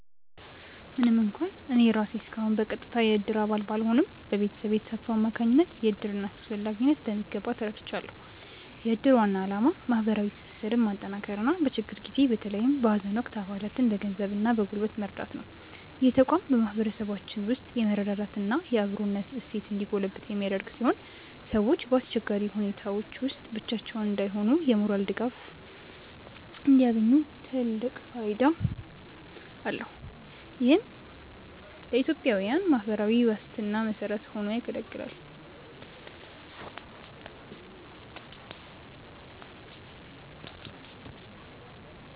ምንም እንኳን እኔ ራሴ እስካሁን በቀጥታ የእድር አባል ባልሆንም፣ በቤተሰቤ ተሳትፎ አማካኝነት የእድርን አስፈላጊነት በሚገባ ተረድቻለሁ። የእድር ዋና ዓላማ ማህበራዊ ትስስርን ማጠናከርና በችግር ጊዜ በተለይም በሀዘን ወቅት አባላትን በገንዘብና በጉልበት መርዳት ነው። ይህ ተቋም በማህበረሰባችን ውስጥ የመረዳዳትና የአብሮነት እሴት እንዲጎለብት የሚያደርግ ሲሆን፣ ሰዎች በአስቸጋሪ ሁኔታዎች ውስጥ ብቻቸውን እንዳይሆኑና የሞራል ድጋፍ እንዲያገኙ ትልቅ ፋይዳ አለው። ይህም ለኢትዮጵያዊያን የማህበራዊ ዋስትና መሰረት ሆኖ ያገለግላል።